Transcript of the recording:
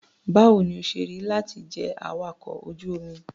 Báwo ni ó ṣe rí láti jẹ́ awakọ̀ ojú-omi?